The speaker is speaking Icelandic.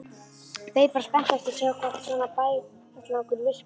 Beið bara spenntur eftir að sjá hvort svona bægslagangur virkaði.